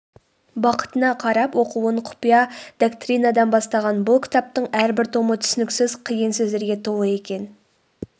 бақытына қарап оқуын құпия доктринадан бастаған бұл кітаптың әрбір томы түсініксіз қиын сөздерге толы екен